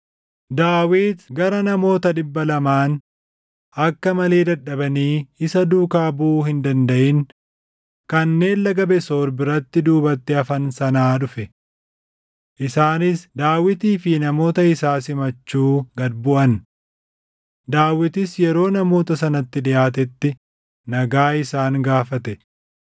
Daawit gara namoota dhibba lamaan akka malee dadhabanii isa duukaa buʼuu hin dandaʼin kanneen Laga Besoor biratti duubatti hafan sanaa dhufe. Isaanis Daawitii fi namoota isaa simachuu gad buʼan. Daawitis yeroo namoota sanatti dhiʼaatetti nagaa isaan gaafate.